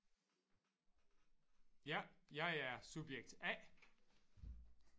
Ja jeg er subjekt A